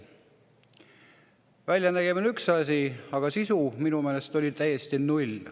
Väljanägemine on üks asi, aga sisu oli minu meelest täiesti null.